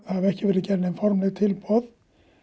ekki verið gerð nein formleg tilboð